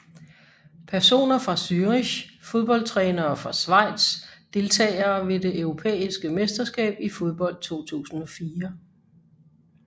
Personer fra Zürich Fodboldtrænere fra Schweiz Deltagere ved det europæiske mesterskab i fodbold 2004